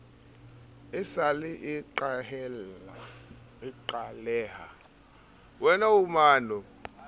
e sa le e qaleha